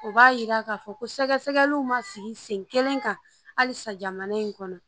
O b'a yira k'a fɔ ko sɛgɛsɛgɛliw ma sigi sen kelen kan halisa jamana in kɔnɔ